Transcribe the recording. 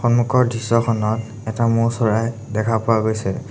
সন্মুখৰ দৃশ্যখনত এটা মৌৰ চৰাই দেখা পোৱা গৈছে।